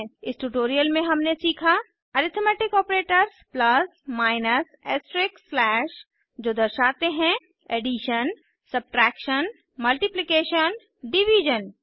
इस ट्यूटोरियल में हमने सीखा arithmetic operators plus minus asterisk slash जो दर्शाते हैं ऐडीशन सब्ट्रैक्शन मल्टिप्लिकेशन डिवीज़न